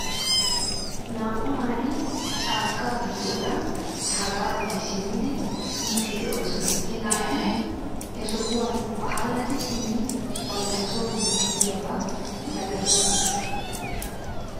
Naa'u naati chaakka giddoora habaggi simmidi yiiddi de'oosona. He naati he sohuwan allaxxidi simmidi bantta soo yiiddi de'iyaaba malatoosona .